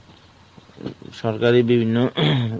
সরকারি বিভিন্ন